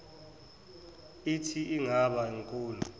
ithi ingaba nkulu